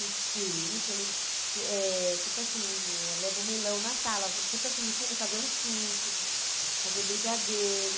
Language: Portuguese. Ensino, quando eh tipo assim eh, levo melão na sala, tipo assim, ensino a fazer um suco, fazer brigadeiro.